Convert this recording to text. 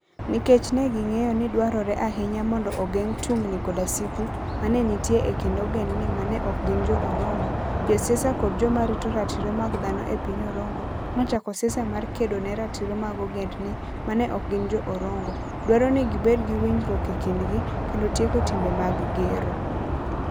Nikech ne ging'eyo ni dwarore ahinya mondo ogeng ' tungni koda sigu ma ne nitie e kind ogendni ma ne ok gin Jo - Orongo, josiasa kod joma rito ratiro mag dhano e piny Orongo nochako siasa mar kedo ne ratiro mag ogendni ma ne ok gin Jo - Orongo, dwaro ni gibed gi winjruok e kindgi, kendo tieko timbe mag gero.